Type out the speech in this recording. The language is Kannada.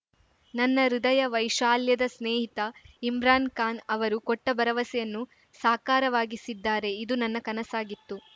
ನನ್ನ ಹೃದಯ ವೈಶಾಲ್ಯದ ಸ್ನೇಹಿತ ಇಮ್ರಾನ್‌ ಖಾನ್‌ ಅವರು ಕೊಟ್ಟಭರವಸೆಯನ್ನು ಸಾಕಾರವಾಗಿಸಿದ್ದಾರೆ ಇದು ನನ್ನ ಕನಸಾಗಿತ್ತು